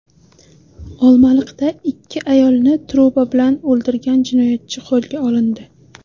Olmaliqda ikki ayolni truba bilan o‘ldirgan jinoyatchi qo‘lga olindi.